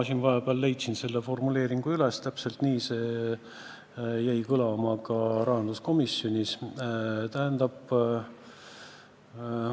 Ma vahepeal leidsin selle formuleeringu üles, täpselt nii jäi see rahanduskomisjonis kõlama.